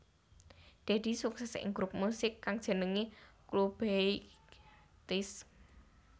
Deddy sukses ing grup musik kang jenengé Clubeighties